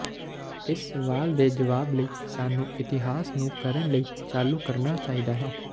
ਇਸ ਸਵਾਲ ਦੇ ਜਵਾਬ ਲਈ ਸਾਨੂੰ ਇਤਿਹਾਸ ਨੂੰ ਕਰਨ ਲਈ ਚਾਲੂ ਕਰਨਾ ਚਾਹੀਦਾ ਹੈ